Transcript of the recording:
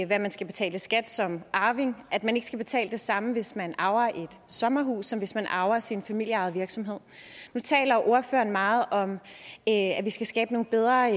hvad man skal betale i skat som arving at man ikke skal betale det samme hvis man arver et sommerhus som hvis man arver sin familieejede virksomhed nu taler ordføreren meget om at vi skal skabe nogle bedre